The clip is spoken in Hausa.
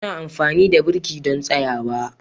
Muna amfani da birki don tsayawa.